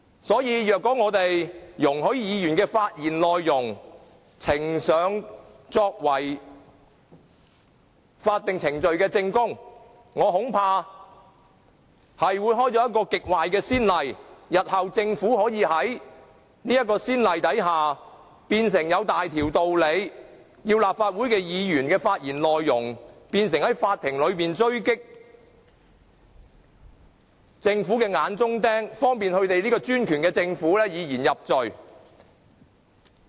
所以，如果我們容許議員的發言內容呈上作為法定程序的證供，我恐怕會開了一個極壞的先例。政府日後可以在先例之下，理所當然地把立法會議員的發言內容，變成在法庭裏狙擊"眼中釘"的工具，方便專權的政府以言入罪。